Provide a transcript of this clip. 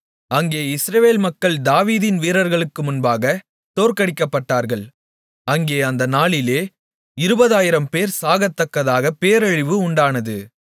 அங்கே இஸ்ரவேல் மக்கள் தாவீதின் வீரர்களுக்கு முன்பாக தோற்கடிக்கப்பட்டார்கள் அங்கே அந்த நாளிலே இருபதாயிரம்பேர் சாகத்தக்கதாக பேரழிவு உண்டானது